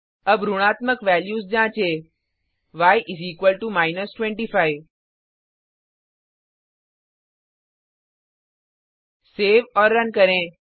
अब ऋणात्मक वैल्यूज जाँचें य 25 सेव और रन करें